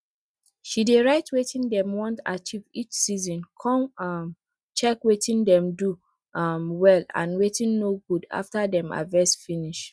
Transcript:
she dey write wetin dem want achieve each season con um check wetin dem do um well and wetin no good after dem harvest finish